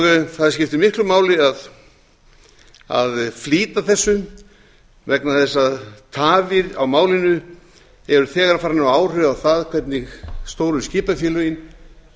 siglingamálastofnunar það skiptir miklu máli að flýta þessu vegna þess að tafir á málinu eru þegar farnir að hafa áhrif á það hvernig stóru skipafélögin